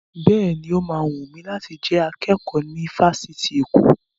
Bẹ́ẹ̀ni, ó ma wùn mi láti jẹ akẹ́kọ̀ọ́ ní ifásitì Èkó